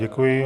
Děkuji.